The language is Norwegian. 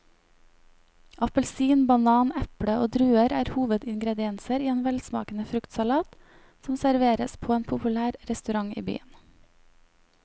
Appelsin, banan, eple og druer er hovedingredienser i en velsmakende fruktsalat som serveres på en populær restaurant i byen.